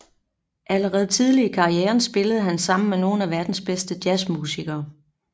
Allerede tidligt i karrieren spillede han sammen med nogle af verdens bedste jazzmusikere